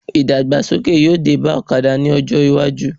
Ìdàgbàsókè yóò dé bá ọ̀kadà ní ọjọ́ iwájú